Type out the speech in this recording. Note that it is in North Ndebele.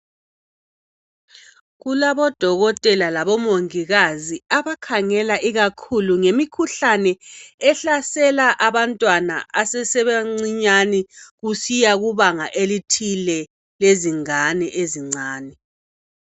Kulabodokotela labomongikazi abakhangela ikakhulu ngemikhuhlane ehlasela abantwana asesebancinyane kusiya kubanga elithile lezingane.